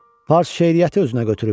Fars şeiriyyəti özünə götürüb.